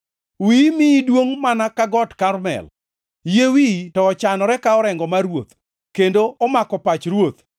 Wiyi miyi duongʼ mana ka Got Karmel, yie wiyi to ochanore ka orengo mar ruoth, kendo omako pach ruoth.